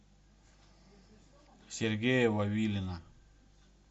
сергея вавилина